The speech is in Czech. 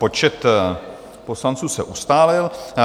Počet poslanců se ustálil.